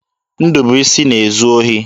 Ndụbụisi na-ezu ohi.